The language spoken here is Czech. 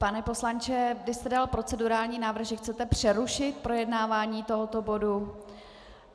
Pane poslanče, vy jste dal procedurální návrh, že chcete přerušit projednávání tohoto bodu?